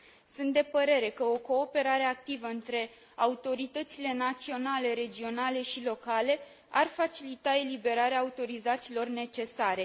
Sunt de părere că o cooperare activă între autoritățile naționale, regionale și locale ar facilita eliberarea autorizațiilor necesare.